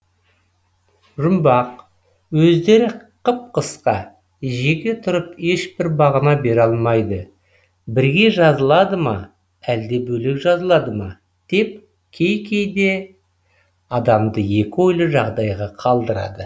жұмбақ өздері қып қысқа жеке тұрып ешбір мағына бере алмайды бірге жазылады ма әлде бөлек жазылады ма деп кейде адамды екі ойлы жағдайға қалдырады